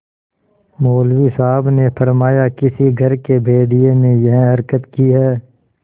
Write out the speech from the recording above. मौलवी साहब ने फरमाया किसी घर के भेदिये ने यह हरकत की है